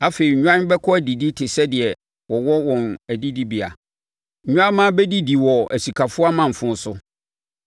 Afei nnwan bɛkɔ adidi te sɛ deɛ wɔwɔ wɔn adidibea; nnwammaa bɛdidi wɔ asikafoɔ amanfo so.